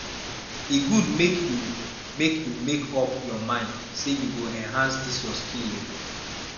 e good make you make you make up your mind say you go enhance dis your skill o